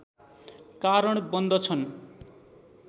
कारण बन्दछन्